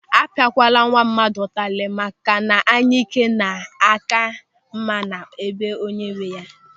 A pịa kwala nwa mmadụ ụtarị maka na anyike na-aka mma na be onye nwe ya!